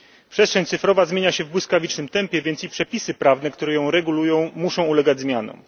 Przestrzeń cyfrowa zmienia się w błyskawicznym tempie, więc i przepisy prawne, które ją regulują, muszą ulegać zmianom.